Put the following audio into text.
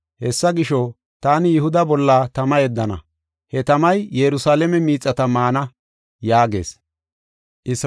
Hessa gisho, taani Yihuda bolla tama yeddana; he tamay Yerusalaame miixata maana” yaagees.